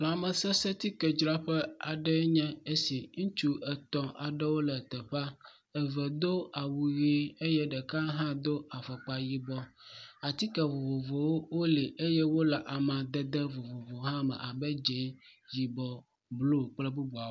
Lamesesẽtsikedzraƒee nye esi. Ŋutsu etɔ̃wo aɖewo le teƒea. Eve do awu ʋi eye ɖeka hã do afɔkpa yibɔ. Atike vovovowo li eye wole amadede vovovowo hã me abe, dze, yibɔ, blu kple bubuawo.